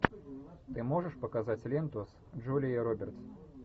ты можешь показать ленту с джулией робертс